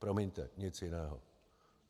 Promiňte, nic jiného.